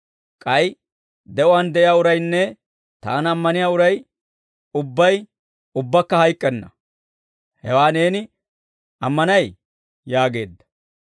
K'ay de'uwaan de'iyaa uraynne Taana ammaniyaa uray ubbay ubbaakka hayk'k'enna; hewaa neeni ammanay?» yaageedda.